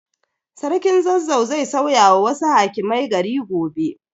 Sarkin Zazzau zai sauyawa wasu hakimai gari gobe.